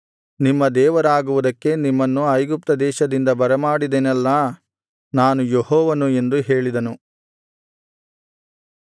ನಿಮ್ಮ ದೇವರಾಗುವುದಕ್ಕೆ ನಿಮ್ಮನ್ನು ಐಗುಪ್ತದೇಶದಿಂದ ಬರಮಾಡಿದೆನಲ್ಲಾ ನಾನು ಯೆಹೋವನು ಎಂದು ಹೇಳಿದನು